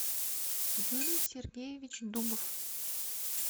юлий сергеевич дубов